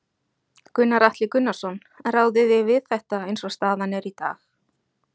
Gunnar Atli Gunnarsson: Ráðið þið við þetta eins og staðan er í dag?